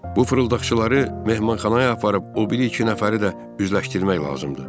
Bu fırıldaqçıları mehmanxanaya aparıb o biri iki nəfəri də üzləşdirmək lazımdır.